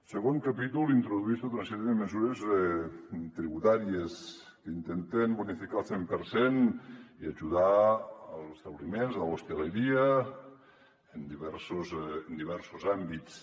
segon capítol introdueix tota una sèrie de mesures tributàries que intenten bonificar el cent per cent i ajudar els establiments l’hostaleria en diversos àmbits